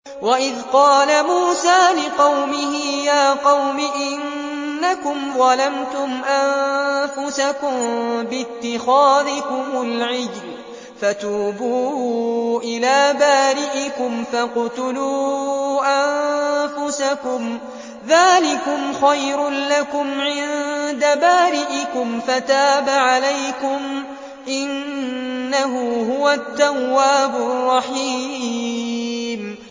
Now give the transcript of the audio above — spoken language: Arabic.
وَإِذْ قَالَ مُوسَىٰ لِقَوْمِهِ يَا قَوْمِ إِنَّكُمْ ظَلَمْتُمْ أَنفُسَكُم بِاتِّخَاذِكُمُ الْعِجْلَ فَتُوبُوا إِلَىٰ بَارِئِكُمْ فَاقْتُلُوا أَنفُسَكُمْ ذَٰلِكُمْ خَيْرٌ لَّكُمْ عِندَ بَارِئِكُمْ فَتَابَ عَلَيْكُمْ ۚ إِنَّهُ هُوَ التَّوَّابُ الرَّحِيمُ